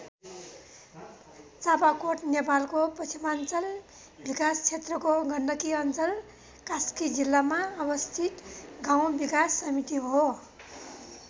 चापाकोट नेपालको पश्चिमाञ्चल विकास क्षेत्रको गण्डकी अञ्चल कास्की जिल्लामा अवस्थित गाउँ विकास समिति हो।